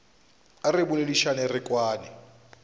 a re boledišane re kwane